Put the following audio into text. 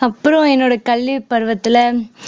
அப்புறம் என்னோட கல்வி பருவத்துல